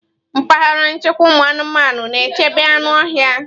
Mpaghara nchekwa ụmụanụmanụ. na-echebe anụ ọhịa.